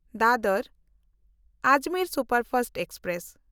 Dadar Ajmer superfast express